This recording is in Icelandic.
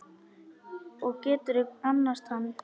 Og geturðu annast hann?